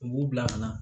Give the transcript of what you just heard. U b'u bila ka na